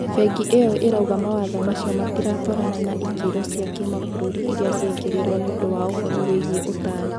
Bengi iyo irauga mawatho macio matiratwarana na ikero cia kimabũruri iria ciekerirwo niũndu wa ũhoro wigie utari.